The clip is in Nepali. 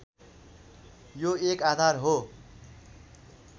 यो एक आधार हो